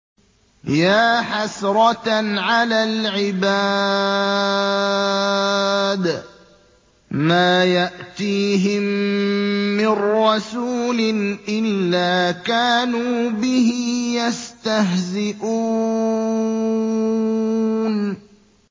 يَا حَسْرَةً عَلَى الْعِبَادِ ۚ مَا يَأْتِيهِم مِّن رَّسُولٍ إِلَّا كَانُوا بِهِ يَسْتَهْزِئُونَ